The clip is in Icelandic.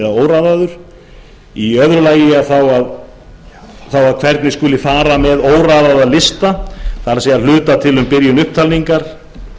óraðaður í öðru lagi er um það að ræða hvernig skuli fara með óraðaða lista það er að hlutast til um byrjun upptalningar